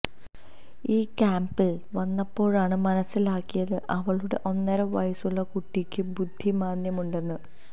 ഈ ക്യാംപില് വന്നപ്പോഴാണ് മനസ്സിലാക്കിയത് അവളുടെ ഒന്നര വയസ്സുള്ള കുട്ടിക്കും ബുദ്ധിമാന്ദ്യമുണ്ടെന്ന്